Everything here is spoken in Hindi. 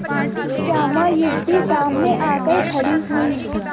एक श्यामा युवती सामने आकर खड़ी हुई